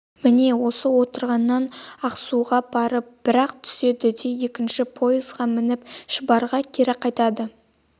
міне осы отырғаннан ақсуға барып бір-ақ түседі де екінші поезға мініп шұбарға кері қайтады